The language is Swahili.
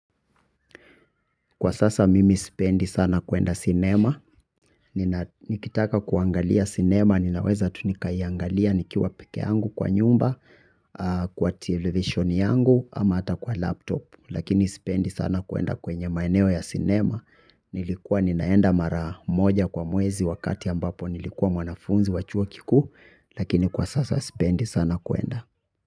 Kwa sasa mimi sipendi sana kuenda sinema nikitaka kuangalia sinema ninaweza tu nikaiangalia nikiwa peke yangu kwa nyumba kwa television yangu ama hata kwa laptop. Lakini sipendi sana kuenda kwenye maeneo ya sinema nilikuwa ninaenda mara moja kwa mwezi wakati ambapo nilikuwa mwanafunzi wa chuo kikuu lakini kwa sasa sipendi sana kuenda.